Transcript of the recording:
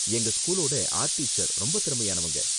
எங்க ஸ்கூலோட art teacher ரொம்ப திறமையானவங்க.